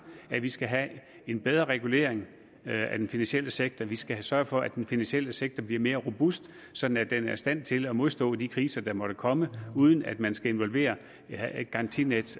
at vi skal have en bedre regulering af den finansielle sektor vi skal sørge for at den finansielle sektor bliver mere robust sådan at den er i stand til at modstå de kriser der måtte komme uden at man skal involvere garantinet